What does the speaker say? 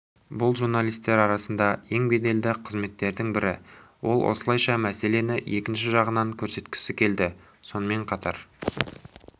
бұл журналистер арасында ең беделді қызметтердің бірі ол осылайша мәселені екінші жағынан көрсеткісі келді сонымен қатар